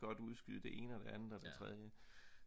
godt udskyde det ene og det andet og det tredje